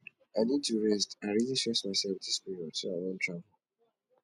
i need to rest i really stress myself dis period so i wan travel